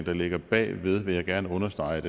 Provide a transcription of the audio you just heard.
der ligger bag ved vil jeg gerne understrege